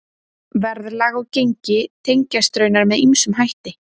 Verðlag og gengi tengjast raunar með ýmsum hætti.